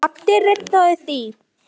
Addi reddaði því.